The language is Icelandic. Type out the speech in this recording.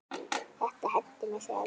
Þetta henti mig þegar við